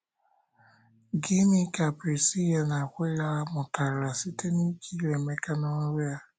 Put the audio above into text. Gịnị ka Prisila na Akwịla mụtara site n’ikiri Emeka n’oru ya?